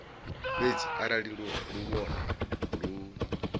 fhedzi arali luvhone lu lu